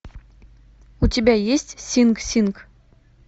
у тебя есть синг синг